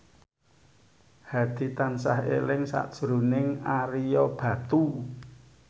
Hadi tansah eling sakjroning Ario Batu